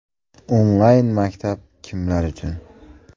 Onlayn-maktab kimlar uchun?